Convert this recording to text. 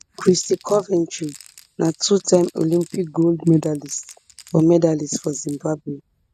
kristy coventry na twotime olympic gold medallist for medallist for zimbabwe